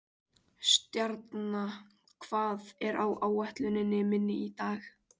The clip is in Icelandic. Stjarna, hvað er á áætluninni minni í dag?